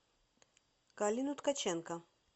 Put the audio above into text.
галину ткаченко